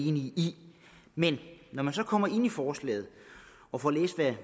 enig i men når man så kommer ind i forslaget og får læst